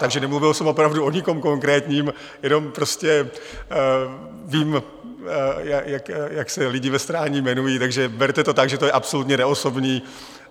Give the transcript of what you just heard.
Takže nemluvil jsem opravdu o nikom konkrétním, jenom prostě vím, jak se lidi ve Strání jmenují, takže berte to tak, že to je absolutně neosobní.